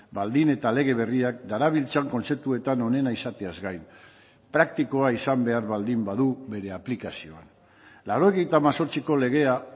baldin eta lege berriak darabiltzan kontzeptuetan onena izateaz gain praktikoa izan behar baldin badu bere aplikazioan laurogeita hemezortziko legea